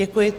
Děkuji.